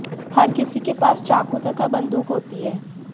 हर किसी के पास चाकू तथा बंदूक होती है